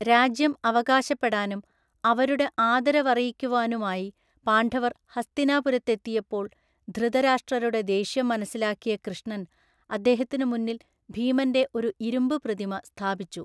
രാജ്യം അവകാശപ്പെടാനും അവരുടെ ആദരവറിയിക്കുവാനുമായി പാണ്ഡവർ ഹസ്തിനാപുരത്തെത്തിയപ്പോൾ ധൃതരാഷ്ട്രരുടെ ദേഷ്യം മനസ്സിലാക്കിയ കൃഷ്ണൻ അദ്ദേഹത്തിന് മുന്നിൽ ഭീമൻ്റെ ഒരു ഇരുമ്പ് പ്രതിമ സ്ഥാപിച്ചു.